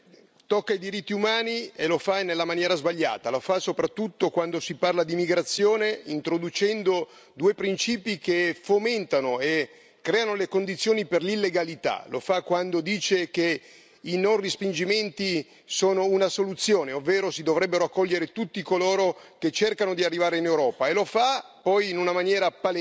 Signor Presidente, onorevoli colleghi, questa relazione tocca i diritti umani e lo fa nella maniera sbagliata. Lo fa soprattutto quando si parla di immigrazione, introducendo due principi che fomentano e creano le condizioni per l'illegalità, lo fa quando dice che i non respingimenti sono una soluzione, ovvero si dovrebbero accogliere tutti coloro che cercano di arrivare in Europa, e lo fa poi in una maniera palese,